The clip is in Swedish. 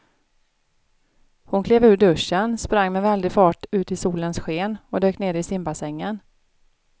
Hon klev ur duschen, sprang med väldig fart ut i solens sken och dök ner i simbassängen.